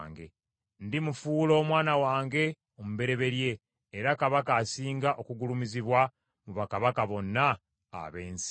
Ndimufuula omwana wange omubereberye, era kabaka asinga okugulumizibwa mu bakabaka bonna ab’ensi.